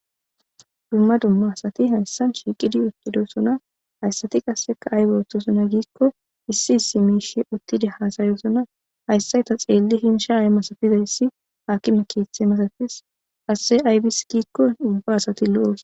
dumma dumma asati hayssan shiiqidi uttidosuna hayssati qasseka aybe othtosona giikko issi issi miishe uttide haasayosona hayssay ta xeelli hinsha ay masafizayssi haakime keethe masafis asse aybis giikko ubba asati lo7oos